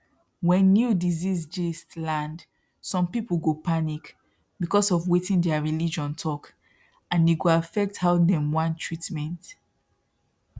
when new disease gist land some people go panic because of wetin their religion talk and e go affect how dem want treatment